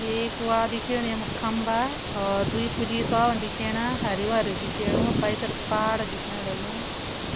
एक वा दिखेणी यमु खम्बा होर दुई पुलिस वाला दिखेणा हरयूं दिखेणु पैथर पहाड़ दिखेण लग्युं